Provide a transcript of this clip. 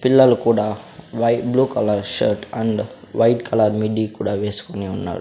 పిల్లలు కూడా white blue colour shirt and white colour midi కూడా వేసుకొని ఉన్నారు.